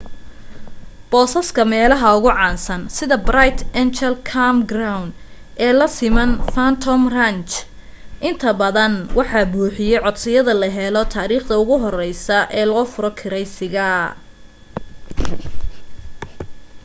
boosaska meelaha ugu caansan sida bright angel campground ee lasiman phantom ranch intabadan waxaa buuxiya codsiyada la helo taarikhda ugu horeyso oo loo furo kireysiga